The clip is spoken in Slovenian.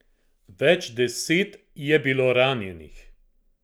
Več deset je bilo ranjenih.